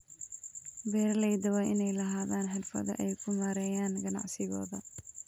Beeralayda waa inay lahaadaan xirfado ay ku maareeyaan ganacsigooda.